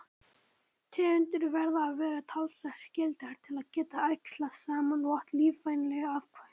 Tegundir verða að vera talsvert skyldar til að geta æxlast saman og átt lífvænleg afkvæmi.